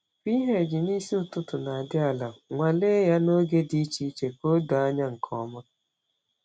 pH n’isi ụtụtụ na-adị ala—nwalee ya n’oge dị iche iche ka o doo anya nke ọma.